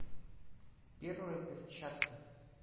первая перчатка